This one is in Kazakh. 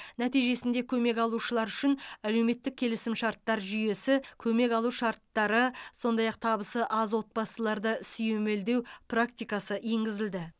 нәтижесінде көмек алушылар үшін әлеуметтік келісімшарттар жүйесі көмек алу шарттары сондай ақ табысы аз отбасыларды сүйемелдеу практикасы енгізілді